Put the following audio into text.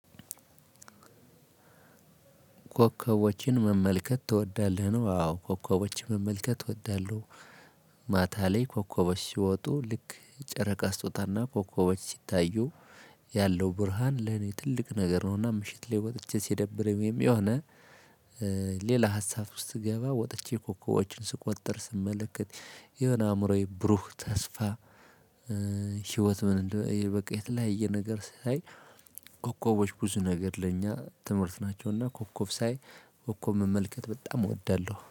ኮከቦችን መመልከት ትወዳለህ? ነው አዎ ኮከቦችን መመልከት እወዳለሁ። ማታ ላይ ኮከቦች ሲወጡ ልክ ጨረቃ ስቶጣታና ኮከቦች ሲታዩ ያለው ብርሃን ለኔ ትልቅ ነገር ነውና። ምሽት ላይ ወጥቼ ሲደብረኝም የሆነ ሌላ ሀሳብ ውስጥ ትገባ ወጥቼ ኮኮቦችን ስቆጥር ስመለከት የሆነ አእምሮዬ ብሩህ ተስፋ። ህይወት ምንእንድ በቃ የተለያየ ነገር ሳይ። ኮኮቦች ብዙ ነገር ለኛ ትምህርት ናቸውና ኮከብ ሳይ ኮከብ መመልከት በጣም እወዳለሁ